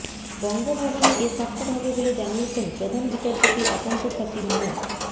বঙ্গভবনে এ সাক্ষাৎ হবে বলে জানিয়েছেন প্রধান বিচারপতির একান্ত সচিব মো